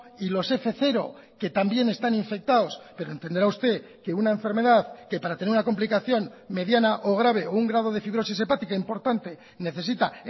y los f cero que también están infectados pero entenderá usted que una enfermedad que para tener una complicación mediana o grave o un grado de fibrosis hepática importante necesita